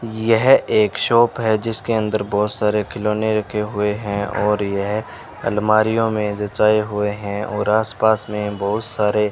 यह एक शॉप है जिसके अंदर बहुत सारे खिलौने रखे हुए हैं और यह अलमारीयों में जचाए हुए हैं और आसपास में बहुत सारे --